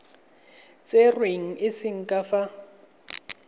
tserweng e se ka fa